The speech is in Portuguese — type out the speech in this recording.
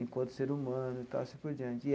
enquanto ser humano e tal, assim por diante.